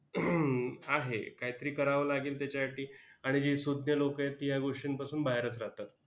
हम्म आहे. कायतरी करावं लागेल त्याच्यासाठी. आणि जी सूज्ञ लोकं आहेत, ती या गोष्टींपासून बाहेरच राहतात.